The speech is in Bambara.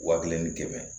Wa kelen ni kɛmɛ